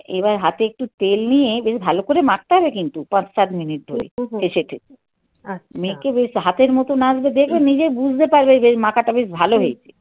এবার হাতে একটু তেল নিয়ে বেশ ভালো করে মাখতে হবে কিন্তু পাঁচ সাত মিনিট ধরে. হু হু. ঠেসে ঠেসে. আচ্ছা. মেখে বেশ হাতের মতন আসবে. দেখবে নিজে বুঝতে পারবে যে মাখাটা বেশ ভালো হয়েছে